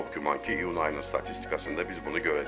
Çox güman ki, iyun ayının statistikasında biz bunu görəcəyik.